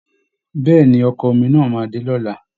Bẹ́ẹ̀ ni, Ọkọ̀ omi náà máa dé lọ́la